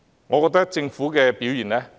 我覺得政府的表現應予批評。